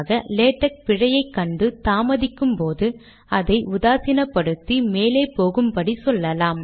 itemise என்பதை enumerate ஆக மாற்றவேண்டும்